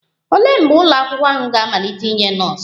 Olee mgbe ụlọ akwụkwọ ahụ ga-amalite inye nọọsụ?